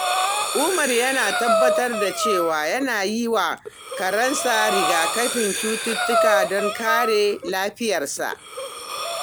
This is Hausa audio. Umar yana tabbatar da cewa yana yi wa karensa rigakafin cututtuka don kare lafiyarsa.